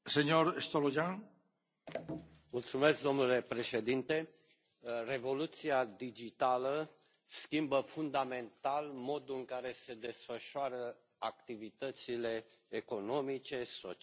Domnule președinte, revoluția digitală schimbă fundamental modul în care se desfășoară activitățile economice, sociale, umane în toate domeniile.